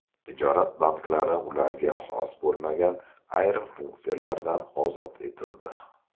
Tijorat banklari ularga xos bo‘lmagan ayrim funksiyalardan ozod etildi.